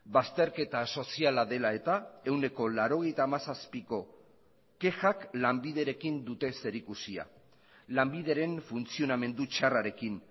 bazterketa soziala dela eta ehuneko laurogeita hamazazpiko kexak lanbiderekin dute zerikusia lanbideren funtzionamendu txarrarekin